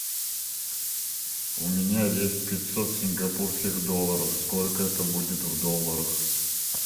у меня есть пятьсот сингапурских долларов сколько это будет в долларах